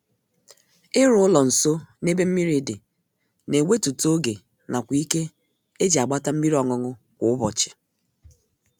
Ịrụ ụlọ nsọ n'ebe mmiri dị na ewetute oge nakwa ike e ji agbata mmiri ọṅụṅụ kwa ụbọchị